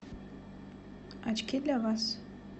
очки для вас